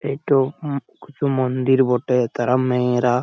এটো উম কছু মন্দির বটে তারা মেয়েরা --